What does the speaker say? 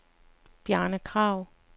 Bjarne Krag